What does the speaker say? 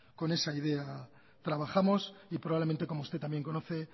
con esa idea trabajamos y probablemente como usted también conoce